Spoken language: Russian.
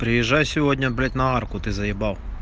приезжай сегодня блять на арку ты заебал